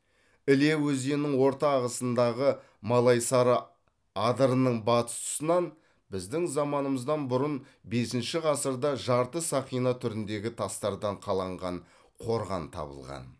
іле өзенінің орта ағысындағы малайсары адырының батыс тұсынан біздің заманымыздан бұрын бесінші ғасырда жарты сақина түріндегі тастардан қаланған қорған табылған